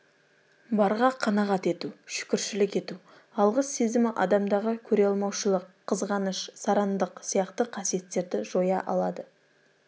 барға қанағат ету шүкіршілік ету алғыс сезімі адамдағы көре алмаушылық қызғаныш сарандық сияқты қасиеттерді жоя алады